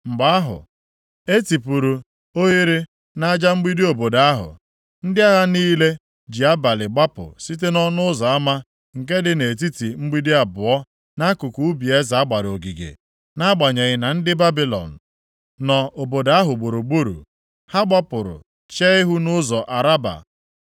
Mgbe ahụ, e tipuru oghere nʼaja mgbidi obodo ahụ, ndị agha niile ji abalị gbapụ site nʼọnụ ụzọ ama nke dị nʼetiti mgbidi abụọ nʼakụkụ ubi eze a gbara ogige, nʼagbanyeghị na ndị Babilọn + 52:7 Maọbụ, Kaldịa nọ obodo ahụ gburugburu. Ha gbapụrụ chee ihu nʼụzọ Araba. + 52:7 Ya bụ ndagwurugwu Jọdan